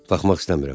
Baxmaq istəmirəm.